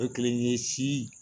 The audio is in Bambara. O kelen ye si